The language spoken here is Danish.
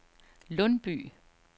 Lundby